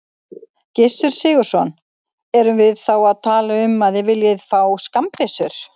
Gissur Sigurðsson: Erum við þá að tala um að þið viljið fá skammbyssur?